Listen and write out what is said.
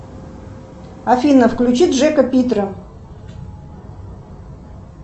афина включи джека питра